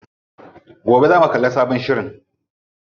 Gobe zamu kalli sabon shirin.